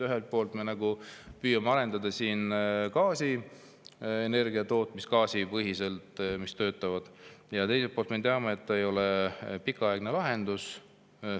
Ühelt poolt me nagu püüame arendada siin energiatootmist gaasipõhiselt, teiselt poolt aga teame, et see ei ole pikaaegne lahendus.